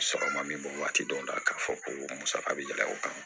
Sɔrɔ ma min bɔ waati dɔ la k'a fɔ ko musaka bɛ yɛlɛ o kan